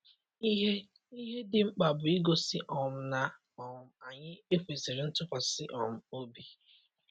Ihe Ihe dị mkpa bụ igosi um na um anyị - ekwesịri ntụkwasị um obi.